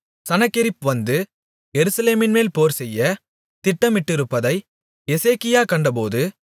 சனகெரிப் வந்து எருசலேமின்மேல் போர்செய்யத் திட்டமிட்டிருப்பதை எசேக்கியா கண்டபோது